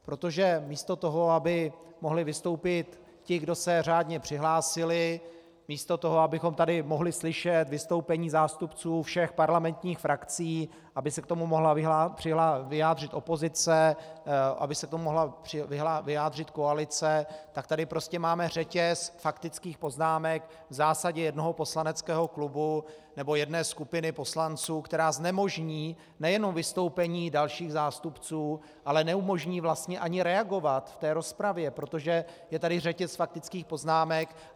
Protože místo toho, aby mohli vystoupit ti, kdo se řádně přihlásili, místo toho, abychom tady mohli slyšet vystoupení zástupců všech parlamentních frakcí, aby se k tomu mohla vyjádřit opozice, aby se k tomu mohla vyjádřit koalice, tak tady prostě máme řetěz faktických poznámek v zásadě jednoho poslaneckého klubu nebo jedné skupiny poslanců, která znemožní nejenom vystoupení dalších zástupců, ale neumožní vlastně ani reagovat v té rozpravě, protože je tady řetěz faktických poznámek.